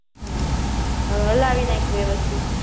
હમ્મ હવે હલાવી નાખ વ્યવસ્થિત